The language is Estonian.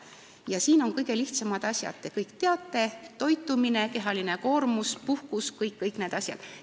Selleks on vaja kõige lihtsamaid asju, mida te kõik teate: õige toitumine, kehaline koormus, puhkus ja kõik need asjad.